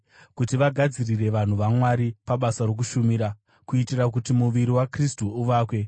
kuti vagadzirire vanhu vaMwari pabasa rokushumira, kuitira kuti muviri waKristu uvakwe